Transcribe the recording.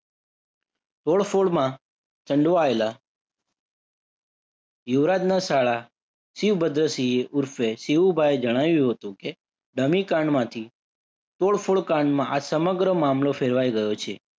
તોડફોડમાં સંડવાયેલા યુવરાજના શાળા શિવભદ્ર સિંહે ઉર્ફે શિવુભાઇએ જણાવ્યું હતું કે ધમીકાંડમાંથી તોડફોડ કાંડમાં આ સમગ્ર મામલો ફેરવાઈ ગયો છે.